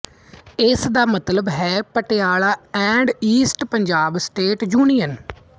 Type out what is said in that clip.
ਇਸ ਦਾ ਮਤਲਬ ਹੈ Patiala and east Punjab state union